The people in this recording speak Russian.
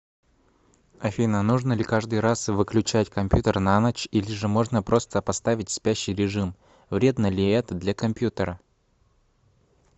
афина нужно ли каждый раз выключать компьютер на ночь или же можно просто поставить спящий режим вредно ли это для компьютера